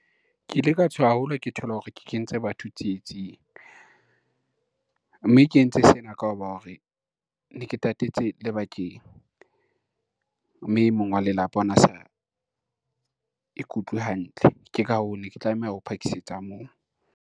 Ke ile ka tshoha haholo ke thola hore ke kentse batho tsietsing, mme ke entse sena ka ho ba hore ne ke tatetse lebakeng, mme e mong wa lelapa ona sa ikutlwe hantle. Ke ka hoo ne ke tlameha ho phakise tsa moo.